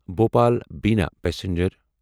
Bhopal Bina passenger